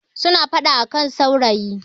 suna fada a kan saurayi